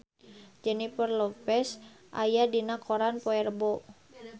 Jennifer Lopez aya dina koran poe Rebo